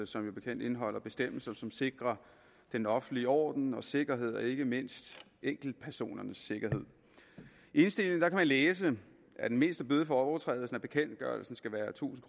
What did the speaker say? som bekendt indeholder bestemmelser som sikrer den offentlige orden og sikkerhed og ikke mindst enkeltpersoners sikkerhed i indstillingen kan man læse at den mindste bøde for overtrædelse af bekendtgørelsen skal være tusind